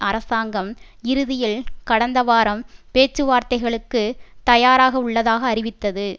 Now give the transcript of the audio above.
அரசாங்கம் இறுதியில் கடந்த வாரம் பேச்சுவார்த்தைகளுக்குத் தயாராக உள்ளதாக அறிவித்தது